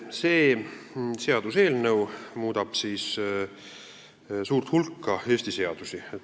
See seaduseelnõu muudab suurt hulka Eesti seadusi.